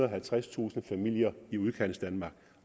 og halvtredstusind familier i udkantsdanmark